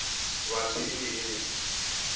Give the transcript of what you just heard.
batho e be e le